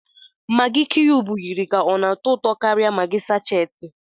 Maggi kiyubu yiri ka ọ na-atọ ụtọ karia maggi sáchééti